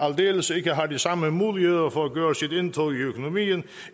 aldeles ikke har de samme muligheder for at gøre sit indtog i økonomien